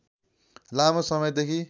लामो समयदेखि